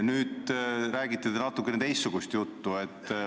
Nüüd räägite te natukene teistsugust juttu.